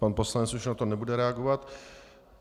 Pan ministr už na to nebude reagovat.